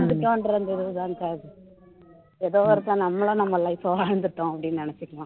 ஏதோ ஒருக்க நம்மளும் நம்ம life அ வாழ்ந்துட்டோம் அப்படின்னு நினைச்சுக்கலாம்